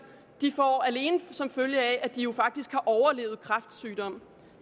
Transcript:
får alene som følge af at de faktisk har overlevet kræftsygdom